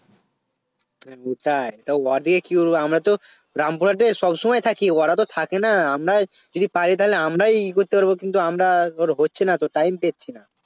ওটাই তা ওদের কি আমরা তো গ্রাম Front এ সবসময় থাকি ওরা তো থাকে না আমরাই যদি পাই আমরাই ই করতে পারব আমরা তোর হচ্ছে না তো time পাচ্ছি না